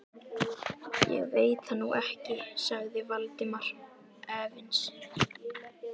Ég veit það nú ekki sagði Valdimar efins.